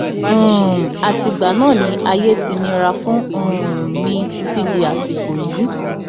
um àtìgbà náà ni ayé ti nira fún um mi títí dàsìkò yìí